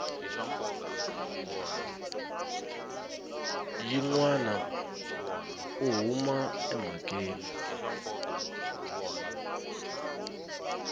yin wana u huma emhakeni